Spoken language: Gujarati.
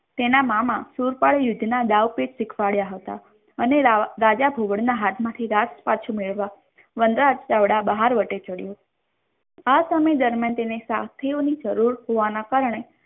તેના મામા સુરપાલ યુદ્ધના દાવ પેજ શીખવાડ્યા હતા અને રાજા ઘુવડના હાથમાંથી રાજ પાછું મેળવવા વનરાજ ચાવડા બહારવટી ચઢ્ય આ સમય દરમિયાન તેને તેની શાસ્ત્રીઓની જરૂર હોવાના કારણે